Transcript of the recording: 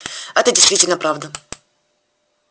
это действительно правда